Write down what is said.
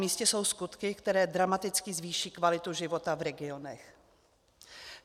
Namístě jsou skutky, které dramaticky zvýší kvalitu života v regionech.